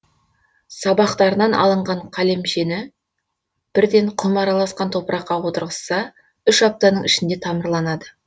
сабақтарынан алынған қалемшені бірден құм араласқан топыраққа отырғызса үш аптаның ішінде тамырланады